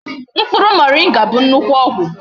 Mkpuru moringa bu nnukwu ogwu